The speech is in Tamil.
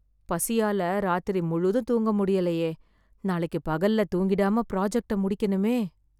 பசியால ராத்திரி முழுதும் தூங்க முடியலயே... நாளைக்கு பகல்ல தூங்கிடாம ஃப்ராஜெக்ட முடிக்கணுமே....